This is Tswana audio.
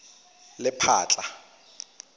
lephatla